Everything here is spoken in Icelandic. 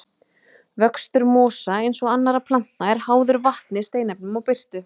Vöxtur mosa, eins og annarra plantna, er háður vatni, steinefnum og birtu.